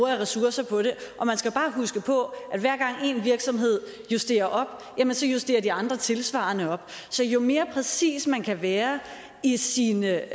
af ressourcer på det og man skal bare huske på at hver gang en virksomhed justerer op jamen så justerer de andre tilsvarende op så jo mere præcis man kan være i sine